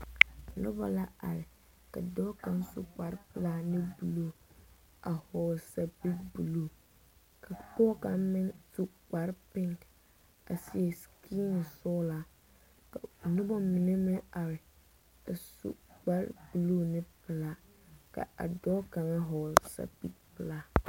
Nobɔ la are. Ka dɔɔ kang su Kpar pulaa ane buluu a vogle sapil buluu. Ka pɔgɔ kang meŋ su kpar piŋ a seɛ sikini sɔglaa. Ka noba mene meŋ are a su kpar buluu ne pulaa. Ka a dɔɔ kanga vogle sapil pulaa.